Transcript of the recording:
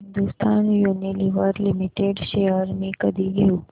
Hindustan Unilever Limited shares मी कधी घेऊ